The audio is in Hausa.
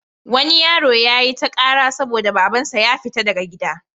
Wani yaro ya yi ta ƙara saboda babansa ya fiya daga gida.